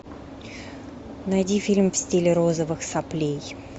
найди фильм в стиле розовых соплей